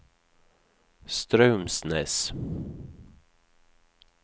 Straumsnes